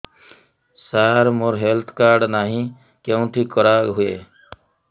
ସାର ମୋର health card ନାହିଁ କେଉଁଠି କରା ହୁଏ